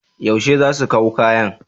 Yaushe za su kaw kayan?